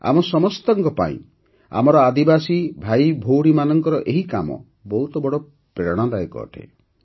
ଆମ ସମସ୍ତଙ୍କ ପାଇଁ ଆମର ଆଦିବାସୀ ଭାଇଭଉଣୀଙ୍କର ଏହି କାମ ବହୁତ ବଡ଼ ପ୍ରେରଣାଦାୟକ ଅଟେ